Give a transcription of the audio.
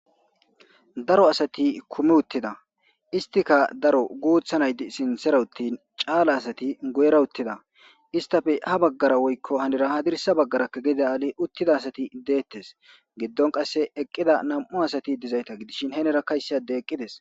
Daro asati kumi uttida istika daro guuthanaydi sinthera uttin caala asati goyera uttida istafe ha baggara woykko hanira hadirisa baggarakka giide aali uttida asati deettes giddon qasse eqqida nam'u asati dizayta gidishin henera kayse ade eqqides.